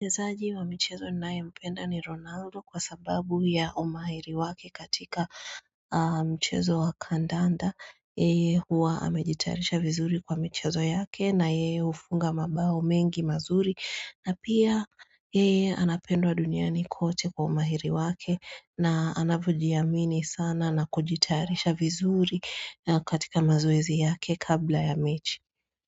Mchezaji wa mchezo ninayependa ni Ronaldo. Kwa sababu ya umahiri wake katika mchezo wa kandanda. Yeye huwa amejitarisha vizuri kwa mchezo yake na yeye hufunga mabao mengi mazuri. Na pia yeye anapendwa duniani kote kwa umahiri wake. Na anavyojiamini sana na kujitayarisha vizuri katika mazoezi yake kabla ya mechi.